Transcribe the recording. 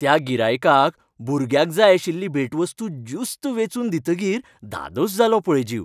त्या गिरायकाक भुरग्याक जाय आशिल्ली भेटवस्तू ज्युस्त वेंचून दितकीर धादोस जालो पळय जीव.